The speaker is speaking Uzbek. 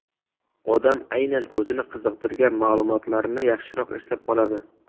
Odam aynan o‘zini qiziqtirgan ma’lumotlarni yaxshiroq eslab qoladi.